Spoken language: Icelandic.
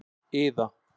Iða